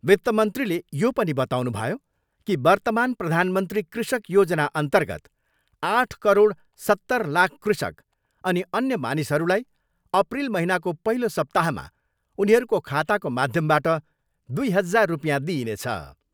वित्तमन्त्रीले यो पनि बताउनुभयो कि वर्त्तमान प्रधानमन्त्री कृषक योजनाअर्न्तगत आठ करोड सत्तर लाख कृषक अनि अन्य मानिसहरूलाई अप्रिल महिनाको पहिलो सप्ताहमा उनीहरूको खाताको माध्यमबाट दुई हजार रुपियाँ दिइनेछ।